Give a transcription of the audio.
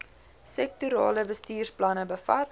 sektorale bestuursplanne bevat